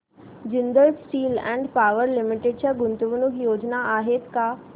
Jindal steel and power limited च्या गुंतवणूक योजना आहेत का